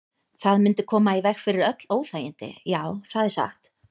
Það mundi koma í veg fyrir öll óþægindi, já, það er satt.